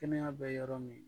Kɛnɛya bɛ yɔrɔ min